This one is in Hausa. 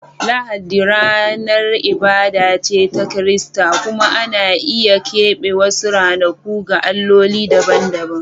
Lahadi ranar ibada ce ta Kirista, kuma ana iya keɓe wasu ranaku ga alloli dabam-dabam.